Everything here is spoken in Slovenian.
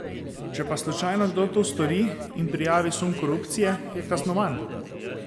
Če pa slučajno kdo to stori in prijavi sum korupcije, je kaznovan.